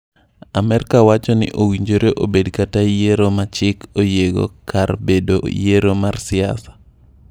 Amerka wacho ni owinjore obed kaka yiero ma chik oyiego kar bedo yiero mar siasa.